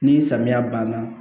Ni samiya banna